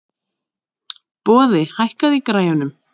Boði, hækkaðu í græjunum.